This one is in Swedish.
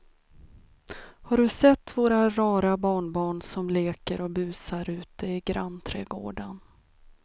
Har du sett våra rara barnbarn som leker och busar ute i grannträdgården!